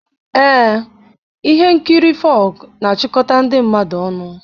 Ee, ihe nkiri Folk na-achịkọta ndị mmadụ ọnụ